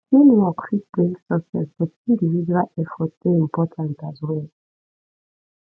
teamwork fit bring success but individual effort dey important as well